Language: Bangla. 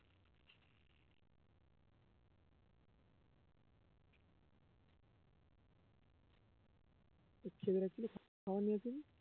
তোর ছেলের কাছ থেকে খাওয়ার নিয়েছে না